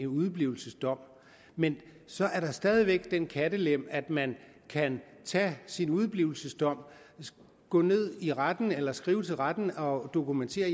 udeblivelsesdom men så er der stadig væk den kattelem at man kan tage sin udeblivelsesdom gå ned i retten eller skrive til retten og dokumentere at